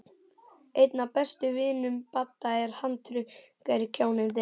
Einn af bestu vinum Badda er handrukkari, kjáninn þinn.